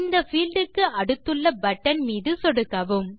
இந்த பீல்ட் க்கு அடுத்துள்ள பட்டன் மீது சொடுக்கவும்